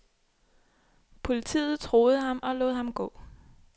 Politiet troede ham og lod ham gå.